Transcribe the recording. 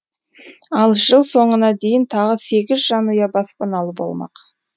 ал жыл соңына дейін тағы сегіз жанұя баспаналы болмақ